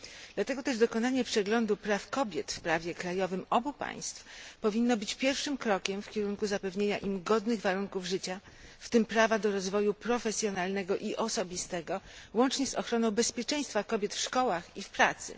Dlatego też dokonanie przeglądu praw kobiet w prawie krajowym obu państw powinno być pierwszym krokiem w kierunku zapewnienia im godnych warunków życia, w tym prawa do rozwoju profesjonalnego i osobistego, łącznie z ochroną bezpieczeństwa kobiet w szkołach i w pracy.